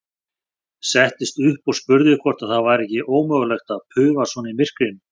Settist upp og spurði hvort það væri ekki ómögulegt að paufa svona í myrkrinu.